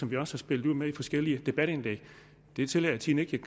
vi også spillet ud med i forskellige debatindlæg det tillader tiden ikke